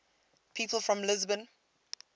people from lisbon